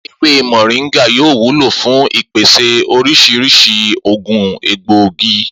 Ewé mò̩ríńgà yóò wúlò fún ìpèsè orís̩irís̩i ògùn egbòogi